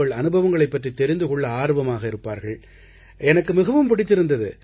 அனுபவங்களைப் பற்றித் தெரிந்து கொள்ள ஆர்வமாக இருப்பார்கள் எனக்கு மிகவும் பிடித்திருந்தது